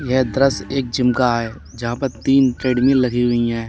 यह दृश्य एक जिम का है जहाँ पर तीन ट्रेडमिल लगी हुई हैं।